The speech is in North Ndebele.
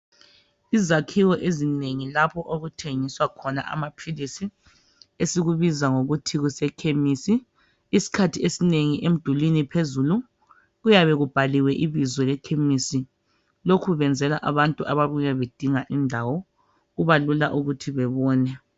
Izakhiwo ezinengi lapho okuthengiswa khona amaphilisi esikubiza ngokuthi kusekhemisi .Isikhathi esinengi emdulini phezulu kuyabekubhaliwe ibizo lekhemisi Lokhu kwenzelwa abantu ababuya bedinga indawo kuba lula ukuthi bebone